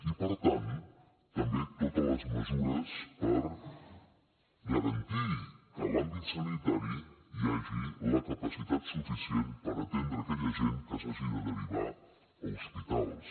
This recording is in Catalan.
i per tant també totes les mesures per garantir que a l’àmbit sanitari hi hagi la capacitat suficient per atendre aquella gent que s’hagi de derivar a hospitals